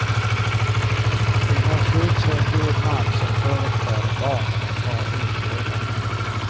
Du måste utse en god man som företräder barnen och tar emot gåvan.